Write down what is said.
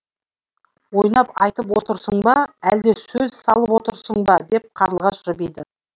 ойнап айтып отырсың ба әлде сөз салып отырсың ба деп қарлығаш жымиды